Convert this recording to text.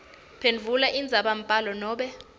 phendvula indzabambhalo nobe